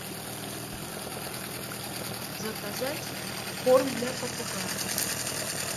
заказать корм для попугаев